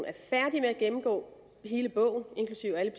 er færdig med at gennemgå hele bogen inklusive alle